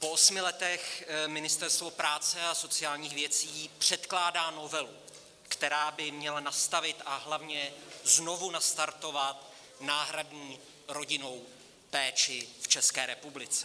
Po osmi letech Ministerstvo práce a sociálních věcí předkládá novelu, která by měla nastavit a hlavně znovu nastartovat náhradní rodinnou péči v České republice.